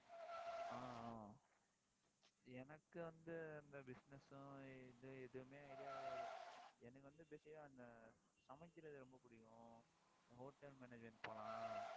ஆஹ் ஆஹ் எனக்கு வந்து அந்த business உம் இது எதுவுமே idea கிடையாது எனக்கு வந்து, basic ஆ அந்த சமைக்கிறது ரொம்ப பிடிக்கும். hotel management போலாம்